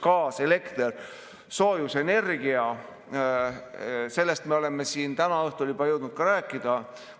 Gaas, elekter, soojusenergia – sellest kõigest me oleme siin täna õhtul juba jõudnud rääkida.